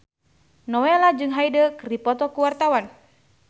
Nowela jeung Hyde keur dipoto ku wartawan